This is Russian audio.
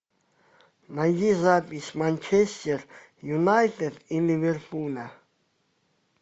найди запись манчестер юнайтед и ливерпуля